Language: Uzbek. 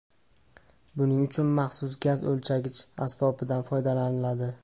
Buning uchun maxsus gaz o‘lchagich asbobidan foydalaniladi.